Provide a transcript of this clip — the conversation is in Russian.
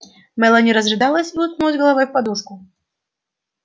мелани разрыдалась и уткнулась головой в подушку